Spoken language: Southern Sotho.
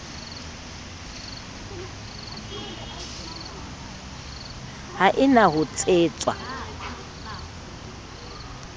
ha e na ho tshetswa